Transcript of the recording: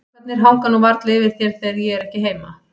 Strákarnir hanga nú varla yfir þér þegar ég er ekki heima.